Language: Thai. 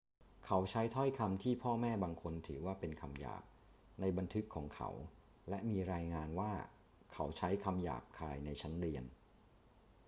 เขาใช้ถ้อยคำที่พ่อแม่บางคนถือว่าเป็นคำหยาบในบันทึกของเขา และมีรายงานว่าเขาใช้คำหยาบคายในชั้นเรียน